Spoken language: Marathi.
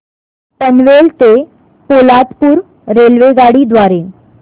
पनवेल ते पोलादपूर रेल्वेगाडी द्वारे